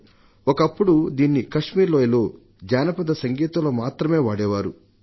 ఒకప్పుడు దీన్ని కశ్మీర్ లోయలో జానపద సంగీతంలో మాత్రమే వాడేవారు దానిని